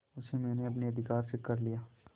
उसे मैंने अपने अधिकार में कर लिया